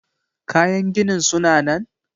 Kayan ginin suna nan?